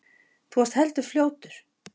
Þú varst heldur fljótur.